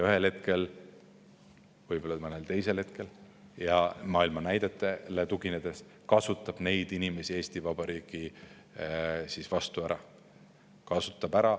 Ühel hetkel, võib-olla mõnel teisel hetkel maailma näidetele tuginedes kasutab keegi neid inimesi Eesti Vabariigi vastu ära.